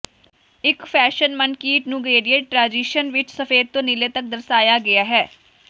ਇੱਕ ਫੈਸ਼ਨ ਮਨਕੀਟ ਨੂੰ ਗਰੇਡਿਏਟ ਟ੍ਰਾਂਜਿਸ਼ਨ ਵਿੱਚ ਸਫੈਦ ਤੋਂ ਨੀਲੇ ਤੱਕ ਦਰਸਾਇਆ ਗਿਆ ਹੈ